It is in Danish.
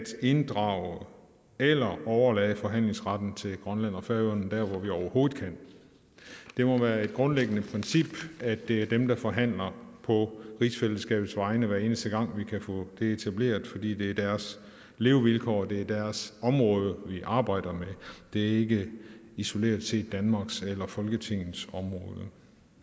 inddrage eller overlade forhandlingsretten til grønland og færøerne der hvor vi overhovedet kan det må være et grundlæggende princip at det er dem der forhandler på rigsfællesskabets vegne hver eneste gang vi kan få det etableret fordi det er deres levevilkår og det er deres område vi arbejder med det er ikke isoleret set danmarks eller folketingets område